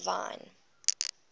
divine